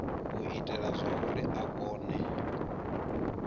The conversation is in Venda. u itela zwauri a kone